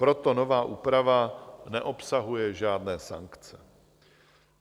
Proto nová úprava neobsahuje žádné sankce.